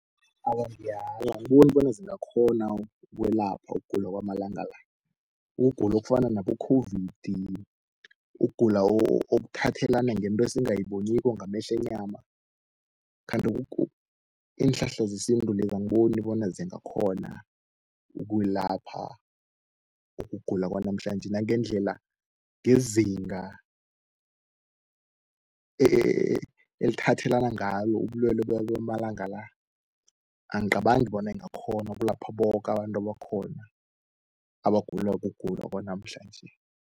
Awa, ngiyala angiboni bona zingakghona ukwelapha ukugula kwamalanga la. Ukugula okufana nabo-COVID, ukugula okuthathelana ngento esingayiboniko ngamehlo wenyama. Khanti iinhlahla zesintu lezi angiboni bona zingakhona ukwelapha ukugula kwanamhlanje nangendlela ngezinga elithathelana ngalo ubulwele bamalanga la. Angicabangi bona ingakghona ukulapha boke abantu abakhona abagula kugula kwanamhlanje.